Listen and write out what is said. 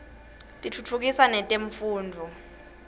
tiftutfukisa netemfundvo